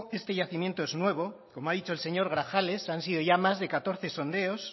este yacimiento es nuevo como ha dicho el señor grajales han sido ya más de catorce sondeos